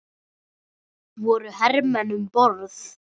Voru hermenn um borð?